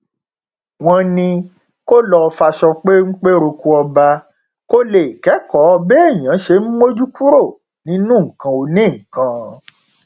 wọn ní kó lọo faṣọ pépé roko ọba kó lè kẹkọọ béèyàn ṣe ń mójú kúrò nínú nǹkan onínǹkan